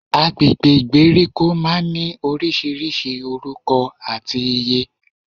Agbègbè ìgbèríko máa n ní orísirísi orúko àti ìyé